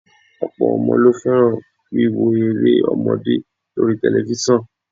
Ọ̀pọ̀ ọmọ ló fẹ́ràn wíwo eré ọmọdé lóri tẹlifíṣàn